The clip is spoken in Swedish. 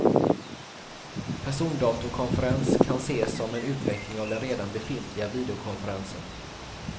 Persondatorkonferens kan ses som en utveckling av den redan befintliga videokonferensen.